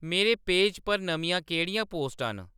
मेरे पेज पर नमियां केह्‌ड़ियां पोस्टां न